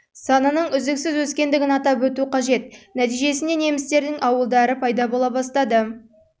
санының үздіксіз өскендігін атап өту қажет нәтижесінде немістердің ауылдары мен пайда бола бастады